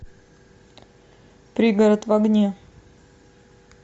пригород в огне